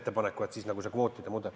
See oli siis see kvootide mudel.